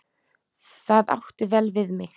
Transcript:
Það átti vel við mig.